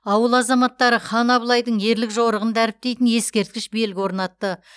ауыл азаматтары хан абылайдың ерлік жорығын дәріптейтін ескерткіш белгі орнатты